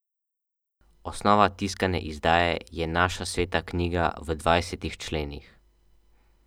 Osnova tiskane izdaje je naša sveta knjiga v dvajsetih členih.